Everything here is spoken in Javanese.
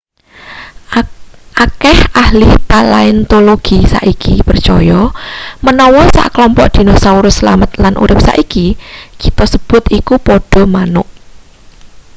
akeh ahli palaeontologi saiki percaya menawa sekelompok dinosaurus slamet lan urip saiki kita sebut iku padha manuk